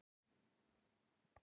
Hvað ertu að segja, drengur?